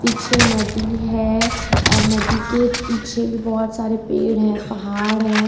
पीछे नदी है और नदी के पीछे भी बहुत सारे पेड़ है पहाड़ है।